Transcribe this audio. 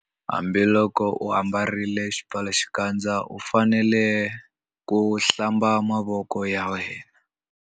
Hambiloko u ambarile xipfalaxikandza u fanele ku - Hlamba mavoko ya wena.